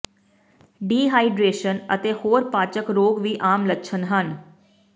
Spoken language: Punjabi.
ਡੀਹਾਈਡਰੇਸ਼ਨ ਅਤੇ ਹੋਰ ਪਾਚਕ ਰੋਗ ਵੀ ਆਮ ਲੱਛਣ ਹਨ